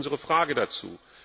Das ist unsere Frage dazu.